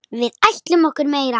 Við ætlum okkur meira.